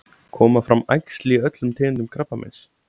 Koma fram æxli í öllum tegundum krabbameins?